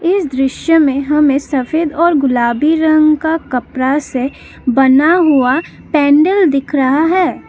इस दृश्य में हमें सफेद और गुलाबी रंग का कपड़ा से बना हुआ पेंडल दिख रहा है।